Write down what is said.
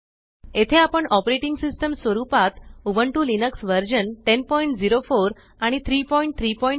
येथे आपण operating system स्वरुपात उबुंटु लिनक्स वर्जन 1004 आणि 334